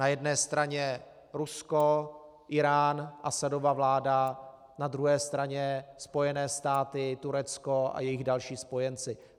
Na jedné straně Rusko, Írán, Asadova vláda, na druhé straně Spojené státy, Turecko a jejich další spojenci.